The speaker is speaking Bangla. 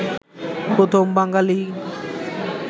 প্রথম বাঙ্গালী